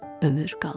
ömür qalır,